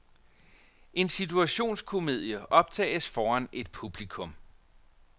En situationskomedie optages foran et publikum.